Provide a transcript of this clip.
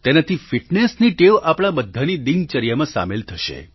તેનાથી ફિટનેસની ટેવ આપણા બધાની દિનચર્યામાં સામેલ થશે